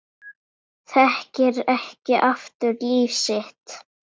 Þekkir ekki aftur líf sitt